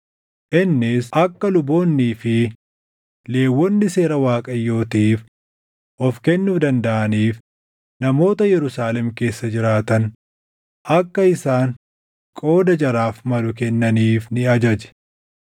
Innis akka luboonnii fi Lewwonni Seera Waaqayyootiif of kennuu dandaʼaniif namoota Yerusaalem keessa jiraatan akka isaan qooda jaraaf malu kennaniif ni ajaje.